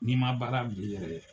N'i ma baara bil'i yɛrɛ ye.